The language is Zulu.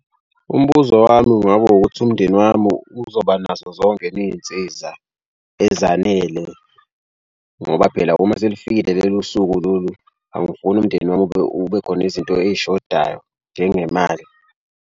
Umbuzo wami kungaba ukuthi umndeni wami uzoba nazo zonke yini iy'nsiza ezanele ngoba phela uma selifikile lelo suku lolu angifuni umndeni wami ube ube khona izinto ey'shodayo njengemali.